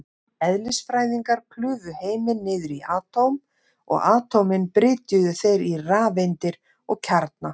Eðlisfræðingar klufu heiminn niður í atóm, og atómin brytjuðu þeir í rafeindir og kjarna.